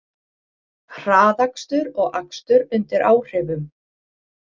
Hraðakstur og akstur undir áhrifum